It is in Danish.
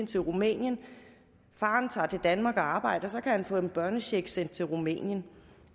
til rumænien og faren tager til danmark og arbejder så kan han få en børnecheck sendt til rumænien